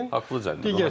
Haqqllı cərimədir.